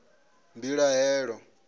mbilahelo